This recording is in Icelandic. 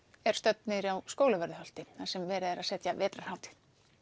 er stödd niðri á Skólavörðuholti þar sem verið er að setja vetrarhátíð